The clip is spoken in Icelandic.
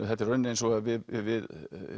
þetta er í rauninni eins og við við